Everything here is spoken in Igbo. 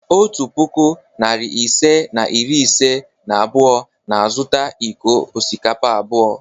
Otu puku, narị ise na iri ise na abụọ na-azụta iko osikapa abụọ.